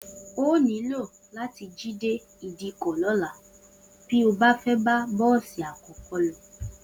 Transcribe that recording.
O óò nílò látí jí dé ìdíkò̩ ló̩la bí o bá fé̩ bá bó̩ò̩sì àkó̩kó̩ lo̩